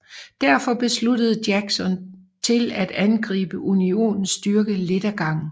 Derfor besluttede Jackson til at angribe Unionens styrke lidt ad gangen